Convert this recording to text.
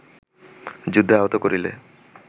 যুদ্ধে আহত করিলে